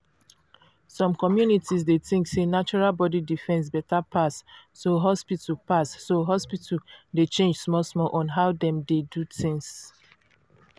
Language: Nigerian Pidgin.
some communities dey think sey natural body defence better pass so hospital pass so hospital dey change small small on how dem dey do things.